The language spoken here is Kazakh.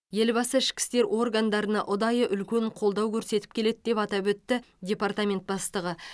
елбасы ішкі істер органдарына ұдайы үлкен қолдау көрсетіп келеді деп атап өтті департамент бастығы